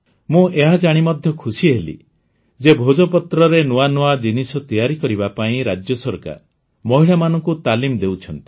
ମୁଁ ଏହା ଜାଣି ମଧ୍ୟ ଖୁସି ହେଲି ଯେ ଭୋଜପତ୍ରରେ ନୂଆ ନୂଆ ଜିନିଷ ତିଆରି କରିବା ପାଇଁ ରାଜ୍ୟ ସରକାର ମହିଳାମାନଙ୍କୁ ତାଲିମ ଦେଉଛି